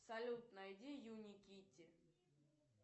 салют найди юни китти